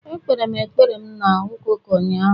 Ekpere m ekpere m na Ụka ụka ụnyahụ